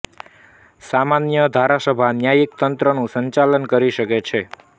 સામાન્ય ધારાસભા ન્યાયિક તંત્રનું સંચાલન કરી શકે છે